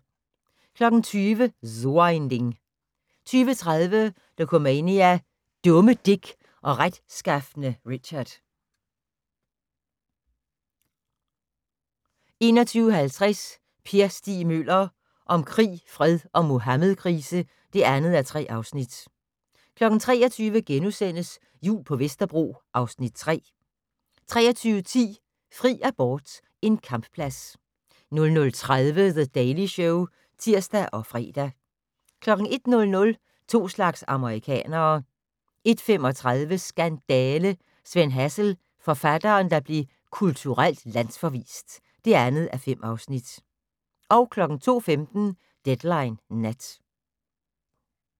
20:00: So ein Ding 20:30: Dokumania: Dumme Dick og retskafne Richard 21:50: Per Stig Møller - om krig, fred og Muhammedkrise (2:3) 23:00: Jul på Vesterbro (Afs. 3)* 23:10: Fri abort - en kampplads 00:30: The Daily Show (tir og fre) 01:00: To slags amerikanere 01:35: Skandale! - Sven Hazel, forfatteren der blev kulturelt landsforvist (2:5) 02:15: Deadline Nat